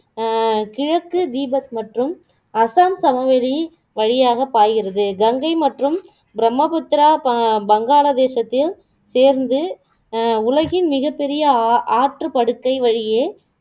அஹ் கிழக்கு தீபத் மற்றும் அசாம் சமவெளி வழியாக பாய்கிறது கங்கை மற்றும் பிரம்மபுத்திரா பா பங்காளதேசத்தில் சேர்ந்து அஹ் உலகின் மிகப்பெரிய அ ஆற்றுப்படுக்கை வழியே